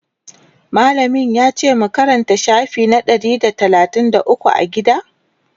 mallamin yace mu Karanta shafi na Ɗari da talatin da ukwu a gida?